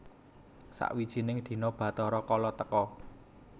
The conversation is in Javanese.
Sawijine dina Bathara Kala teka